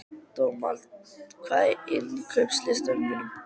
Dómald, hvað er á innkaupalistanum mínum?